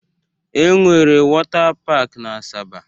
E nwere wota pak n'Asaba